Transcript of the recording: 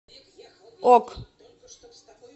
ок